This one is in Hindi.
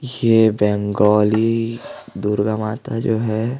ये बेंगोली दुर्गा माता जो हैं।